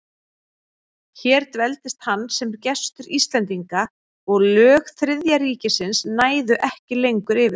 Hér dveldist hann sem gestur Íslendinga, og lög Þriðja ríkisins næðu ekki lengur yfir sig.